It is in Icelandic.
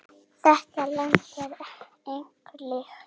Þetta land er engu líkt.